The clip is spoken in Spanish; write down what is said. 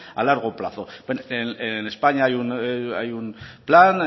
a largo plazo en españa hay un plan